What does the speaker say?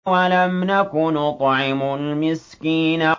وَلَمْ نَكُ نُطْعِمُ الْمِسْكِينَ